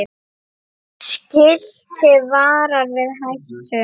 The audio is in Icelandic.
Skilti varar við hættum.